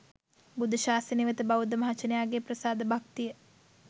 බුද්ධ ශාසනය වෙත බෞද්ධ මහජනයාගේ ප්‍රසාද භක්තිය